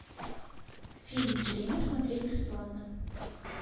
фильм время смотреть бесплатно